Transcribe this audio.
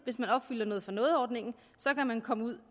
hvis man opfylder noget for noget ordningen kan man komme ud